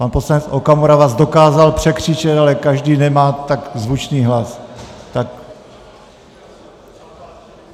Pan poslanec Okamura vás dokázal překřičet, ale každý nemá tak zvučný hlas.